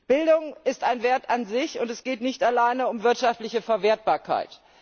Bildung ist ein Wert an sich und es geht nicht allein um wirtschaftliche Verwertbarkeit.